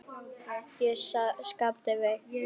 Já, sagði Skapti veikt.